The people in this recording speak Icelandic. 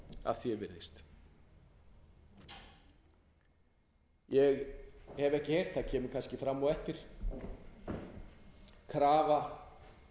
að því ef virðist ég hef ekki heyrt það kemur kannski fram á eftir krafa